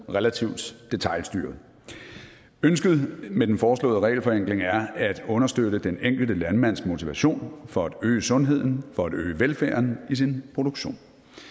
relativt detailstyret ønsket med den foreslåede regelforenkling er at understøtte den enkelte landmands motivation for at øge sundheden for at øge velfærden i sin produktion